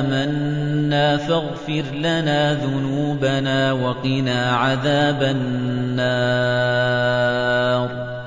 آمَنَّا فَاغْفِرْ لَنَا ذُنُوبَنَا وَقِنَا عَذَابَ النَّارِ